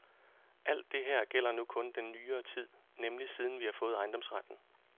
Alt det her gælder nu kun den nyere tid, nemlig siden vi har fået ejendomsretten.